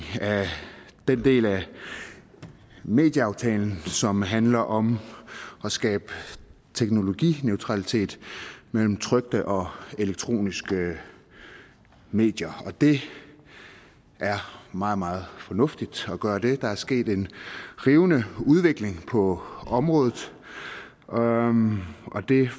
af den del af medieaftalen som handler om at skabe teknologineutralitet mellem trykte og elektroniske medier og det er meget meget fornuftigt at gøre det der er sket en rivende udvikling på området og